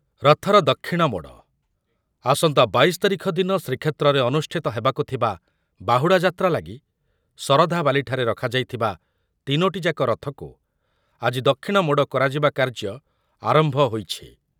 ରଥର ଦକ୍ଷିଣ ମୋଡ଼, ଆସନ୍ତା ବାଇଶ ତାରିଖ ଦିନ ଶ୍ରୀକ୍ଷେତ୍ରରେ ଅନୁଷ୍ଠିତ ହେବାକୁ ଥିବା ବାହୁଡ଼ା ଯାତ୍ରା ଲାଗି ଶରଧାବାଲି ଠାରେ ରଖାଯାଇଥିବା ତିନୋଟି ଯାକ ରଥକୁ ଆଜି ଦକ୍ଷିଣମୋଡ଼ କରାଯିବା କାର୍ଯ୍ୟ ଆରମ୍ଭ ହୋଇଛି ।